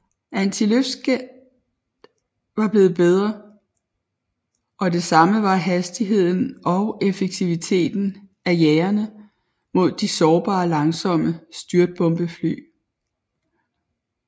Antiluftskytset var blevet bedre og det samme var hastigheden og effektiviteten af jagerne mod de sårbare langsomme styrtbombefly